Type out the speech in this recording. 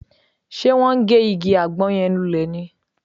Ṣe wọ́n ń gé igi àgbọn yẹn lulẹ̀ ni?